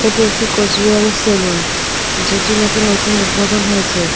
এটি একটি কুচবিহারের সেলুন যেটি নাকি নতুন উদ্বোধন হয়েছে.